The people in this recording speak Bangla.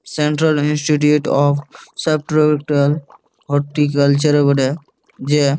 central Institute of Subtropical Horticulture বটে যে --